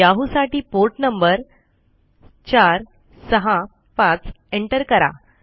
Yahoo साठी port number 465 enter करा